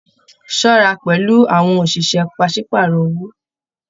Ṣọra pẹlú àwọn oṣiṣẹ pàsepàárọ̀ owó!